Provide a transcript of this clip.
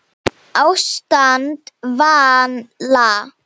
Ástand valla